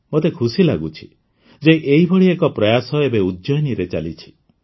ମୋତେ ଖୁସି ଲାଗୁଛି ଯେ ଏହିଭଳି ଏକ ପ୍ରୟାସ ଏବେ ଉଜ୍ଜୟିନୀରେ ଚାଲିଛି